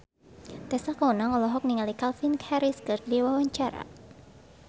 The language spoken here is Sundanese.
Tessa Kaunang olohok ningali Calvin Harris keur diwawancara